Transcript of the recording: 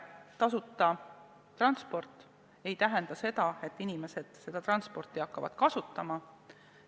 Tasuta transport ei tähenda seda, et inimesed seda tingimata hakkavad kasutama.